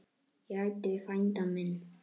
Ég ræddi við frænda minn.